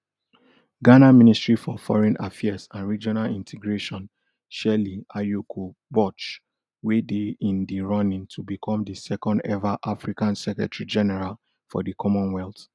ghana ministry for foreign affairs and regional integration shirley ayokor botch wey dey in di running to bicom di second eva african secretarygeneral for di commonwealth